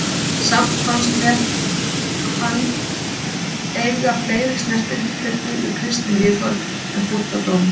Samt fannst mér hann eiga fleiri snertifleti við kristin viðhorf en búddadómur.